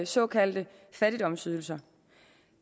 såkaldte fattigdomsydelser